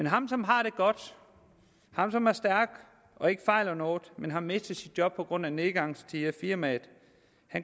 ham som har det godt ham som er stærk og ikke fejler noget men har mistet sit job på grund af nedgangstider i firmaet